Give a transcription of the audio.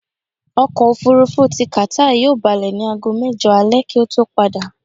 Ọkọ̀̀-òfurufú ti Qatar yóò balẹ̀ ní aago mẹ́jọ alẹ kí ó tó padà.